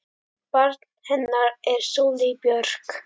Barn hennar er Sóley Björk.